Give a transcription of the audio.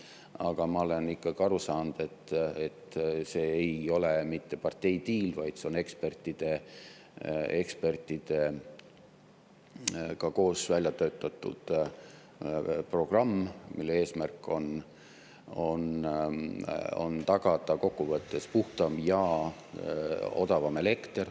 Aga ma olen ikkagi aru saanud, et see ei ole mitte parteidiil, vaid see on ekspertidega koos välja töötatud programm, mille eesmärk on tagada kokkuvõttes puhtam ja odavam elekter.